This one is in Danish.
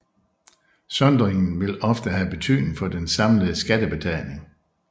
Sondringen vil ofte have betydning for den samlede skattebetaling